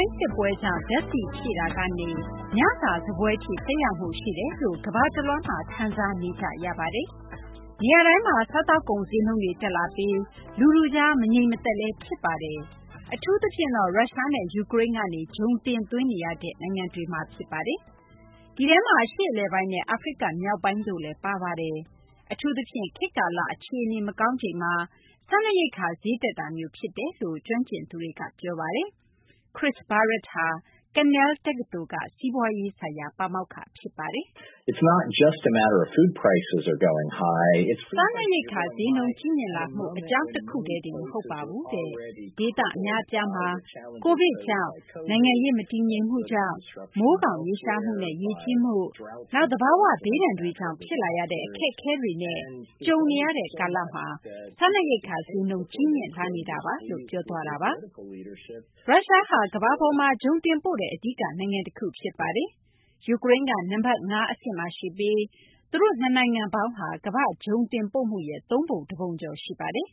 န်း စစ်ပွဲကြောင့် ဓာတ်ဆီ ဖြည့်တာကနေ ညစာ စားပွဲ အထိ သက်ရောက်မှု ရှိတယ်လို့ ကမ္ဘာတလွှားမှာ ခံစားနေကြရပါတယ်။ နေရာတိုင်းမှာ စားသောက်ကုန် ဈေးနှုန်းတွေ တက်လာပြီး လူထုကြား မငြိမ်သက်မှုတွေ ဖြစ်လာပါတယ်။ အထူးသဖြင့်တော့ ရုရှားနဲ့ ယူကရိန်းကနေ ဂျုံတင်သွင်းနေရတဲ့ နိုင်ငံတွေမှာ ဖြစ်ပါတယ်။ ဒီထဲမှာ အရှေ့အလယ်ပိုင်းနဲ့ အာဖရိက မြောက်ပိုင်းတို့လည်း ပါဝင်ပါတယ်။ အထူးသဖြင့် ခေတ်ကာလ အခြေအနေ မကောင်းချိန်မှာ စားနပ်ရိက္ခာဈေးတက်တာမျိုး ဖြစ်တယ်လို့ ကျွမ်းကျင်သူတွေက ပြောပါတယ်။ Chris Barrett ဟာ Cornell တက္ကသိုလ်က စီးပွားရေး ဆိုင်ရာ ပါမောက္ခ ဖြစ်ပါတယ်။ “ စားနပ်ရိက္ခာ ဈေးနှုန်း ကြီးမြင့်လာမှု အကြောင်းတခုတည်းတင် မဟုတ်ပါဘူး။ ဒေသ အများအပြားမှာ Covid ကြောင့် ၊ နိုင်ငံရေး မတည်ငြိမ်မှုကြောင့်၊ မိုးခေါင်ရေရှားမှုနဲ့ ရေကြီးမှု၊ နောက် သဘာ၀ ဘေးဒဏ်တွေကြောင့် ဖြစ်လာရတဲ့ အခက်အခဲတွေနဲ့ ကြုံနေရတဲ့ ကာလမှာ စားနပ်ရိက္ခာဈေးနှုန်း ကြီးမြင့်လာနေတာပါ။ ” ရုရှားဟာ ကမ္ဘာပေါ်မှာ ဂျုံတင်ပို့တဲ့ အဓိက နိုင်ငံတခု ဖြစ်ပါတယ်။ ယူကရိန်းက နံပတ် ၅ အဆင့်မှာ ရှိပြီး သူတို့ နှစ်နိုင်ငံပေါင်းဟာ ကမ္ဘာ့ ဂျုံတင်ပို့မှုရဲ့ သုံးပုံ တပုံကျော် ရှိပါတယ်